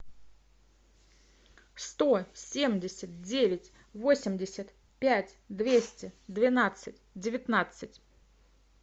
сто семьдесят девять восемьдесят пять двести двенадцать девятнадцать